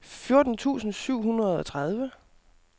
fjorten tusind syv hundrede og tredive